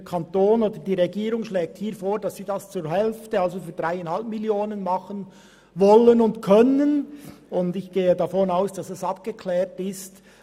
Der Kanton beziehungsweise die Regierung schlägt vor, dass sie das für die Hälfte machen wollen und können, und ich gehe davon aus, dass das abgeklärt ist.